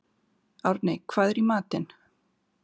Árney, hvað er í matinn?